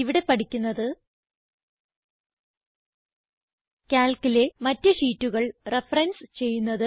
ഇവിടെ പഠിക്കുന്നത് Calcലെ മറ്റ് ഷീറ്റുകൾ റഫറൻസ് ചെയ്യുന്നത്